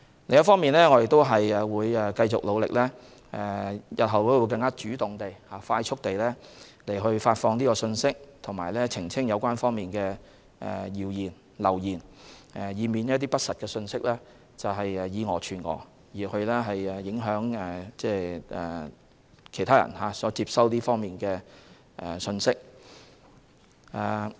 另外，我們也會繼續努力，日後會更主動和快速地發放信息和澄清謠言，以免不實的信息以訛傳訛，影響其他人接收資訊。